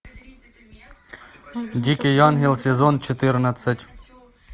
дикий ангел сезон четырнадцать